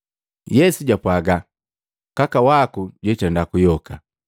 Yesu jwapwaga, “Kaka waku jwitenda kuyoka.”